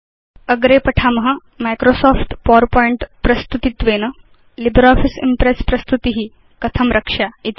अग्रे पठाम Microsoft PowerPoint प्रस्तुतित्वेन लिब्रियोफिस इम्प्रेस् प्रस्तुति कथं रक्ष्या इति